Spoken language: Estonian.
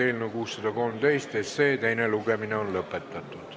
Eelnõu 613 teine lugemine on lõppenud.